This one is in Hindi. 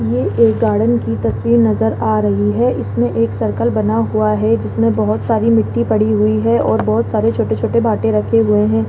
ये एक गार्डन की तस्वीर नजर आ रही है इसमें एक सर्कल बना हुआ है जिसमें बहोत सारी मिट्टी पड़ी हुई है और बहोत सारे छोटे छोटे भाटे रखे हुए हैं।